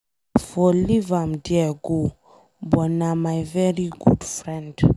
I for leave am there go but na my very good friend.